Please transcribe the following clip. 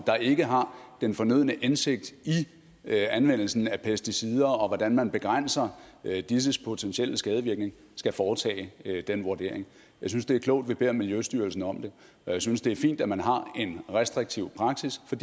ikke har den fornødne indsigt i anvendelsen af pesticider og hvordan man begrænser disses potentielle skadevirkning skal foretage den vurdering jeg synes det er klogt at vi beder miljøstyrelsen om det og jeg synes det er fint at man har en restriktiv praksis for